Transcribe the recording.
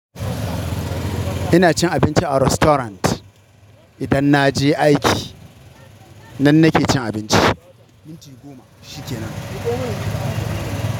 Ina cin abinci a restaurant. Idan na je aiki nan nake cin abinci. Minti goma shi kenan.